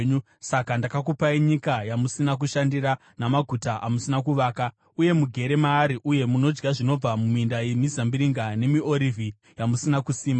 Saka ndakakupai nyika yamusina kushandira namaguta amusina kuvaka; uye mugere maari uye munodya zvinobva muminda yemizambiringa nemiorivhi yamusina kusima.’